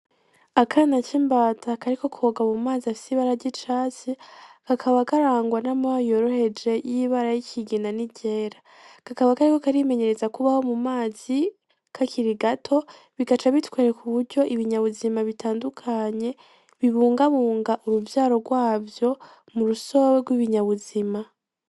Akana k'imbata kariko koga mumazi afise ibara ry'icatsi, kakaba karangwa n'amababa yoroheje y'ibara yikigina n'iryera kakaba kariko karimenyereza kubaho mumazi kakiri gato bigaca bitwereka uburyo ibinya buzima bitandukanye bibungabunga uruvyaro gwavyo murusobe gw'ibinya buzima.